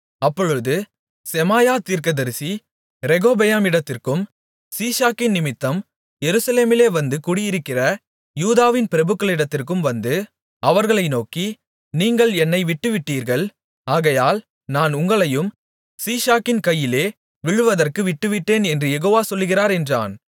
அப்பொழுது செமாயா தீர்க்கதரிசி ரெகொபெயாமிடத்திற்கும் சீஷாக்கினிமித்தம் எருசலேமிலே வந்து கூடியிருக்கிற யூதாவின் பிரபுக்களிடத்திற்கும் வந்து அவர்களை நோக்கி நீங்கள் என்னை விட்டுவிட்டீர்கள் ஆகையால் நான் உங்களையும் சீஷாக்கின் கையிலே விழுவதற்கு விட்டுவிட்டேன் என்று யெகோவா சொல்லுகிறார் என்றான்